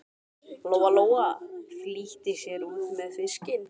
Lóa Lóa flýtti sér út með fiskinn.